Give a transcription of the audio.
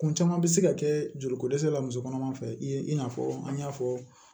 Kun caman bɛ se ka kɛ joli ko dɛsɛ la musokɔnɔma fɛ ye i n'a fɔ an y'a fɔ